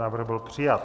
Návrh byl přijat.